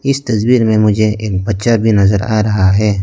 इस तस्वीर में मुझे एक बच्चा भी नजर आ रहा है।